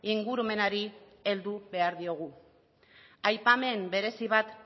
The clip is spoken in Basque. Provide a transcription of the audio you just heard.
ingurumenari heldu behar diogu aipamen berezi bat